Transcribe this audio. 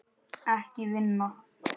Ekki vinna.